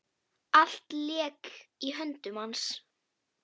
Allt lék í höndum hans.